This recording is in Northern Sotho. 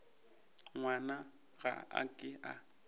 ngwana ga a ke a